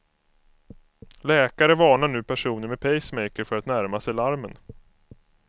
Läkare varnar nu personer med pacemaker för att närma sig larmen.